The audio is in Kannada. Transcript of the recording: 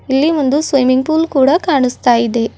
ಇಲ್ಲಿ ಒಂದು ಸ್ವಿಮ್ಮಿಂಗ್ ಪೂಲ್ ಕೂಡ ಕಾಣುಸ್ತ ಇದೆ.